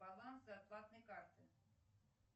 баланс зарплатной карты